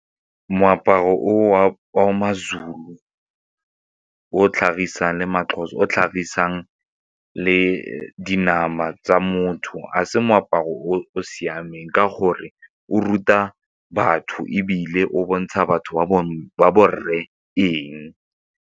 Moaparo o wa ma-Zulu o tlhagisang le dinama tsa motho ga se moaparo o o siameng ka gore o ruta batho ebile o bontsha batho ba borre eng?